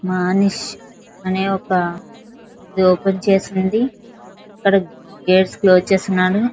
మనిషి అనే ఒక ఇది ఓపెన్ చేసి ఉంది ఇక్కడ గేట్స్ క్లోజ్ చేసి ఉన్నాడు.